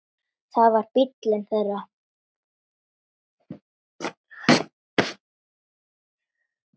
Það var bíllinn þeirra.